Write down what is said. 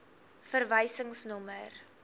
verwysingsnommer